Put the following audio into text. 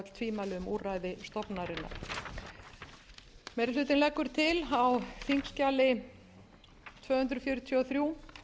stofnunarinnar meiri hlutinn leggur til á þingskjali tvö hundruð fjörutíu og þrjú